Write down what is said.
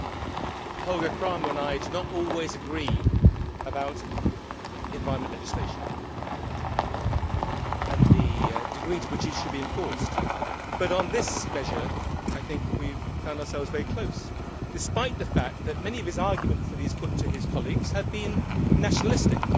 Mr President, Holger Krahmer and I do not always agree about environmental legislation and the degree to which it should be enforced, but on this measure, I think we have found ourselves very close despite the fact that many of the arguments he has put to his colleagues have been nationalistic.